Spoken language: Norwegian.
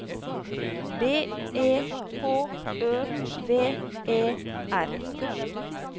B E H Ø V E R